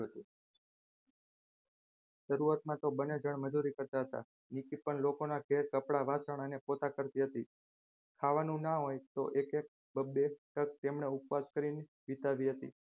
શરૂઆતમાં તો બંને જણ મજૂરી કરતા હતા નિકી પણ લોકોના ઘેર કપડા વાસણ પોતા કરતી હતી ખાવાનું ના હોય તો એક એક બે ટંક તેમને ઉપવાસ કરીને વિતાવી હતી.